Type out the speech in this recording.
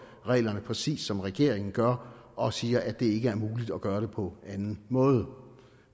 reglerne præcis som regeringen gør og som siger at det ikke er muligt at gøre det på anden måde